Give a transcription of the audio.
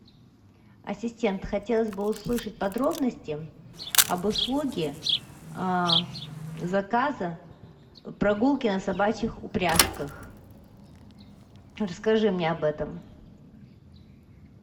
ассистент хотелось бы услышать подробности об услуге заказа прогулки на собачьих упряжках расскажи мне об этом